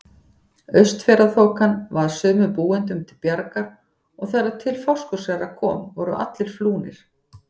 Austfjarðaþokan varð sumum búendum til bjargar og þegar til Fáskrúðsfjarðar kom voru allir flúnir.